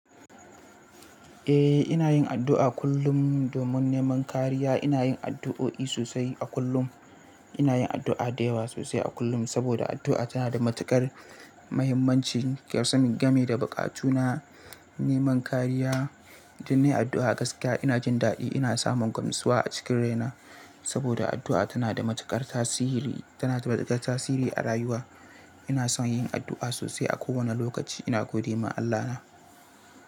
Eh, ina yin addu'a kullum domin neman kariya. Ina yin addu'o'i sosai a kullum. Ina yin addu'a da yawa sosai a kullum, saboda addu'a tana da matuƙar muhimmanci. Kasan game da buƙatu na neman kariya, idan nayi addu'a gaskiya ina jin daɗi. Ina samun gamsuwa a cikin raina, saboda addu'a tana da matuƙar tasiri, tana da matuƙar tasiri a rayuwa. Ina son yin addu'a sosai a kowane lokaci ina gode ma Allahna.